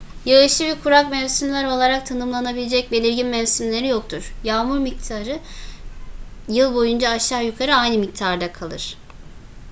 yağışlı ve kurak mevsimler olarak tanımlanabilecek belirgin mevsimleri yoktur yağmur miktarı yıl boyunca aşağı yukarı aynı miktarda kalır